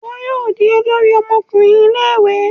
Iwọ yoo di olórí ọmọkùnrin Ilé-ìwé